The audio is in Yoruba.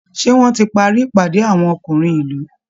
Ṣé wọ́n ti parí ìpàdé àwọn ọkùnrin ìlú?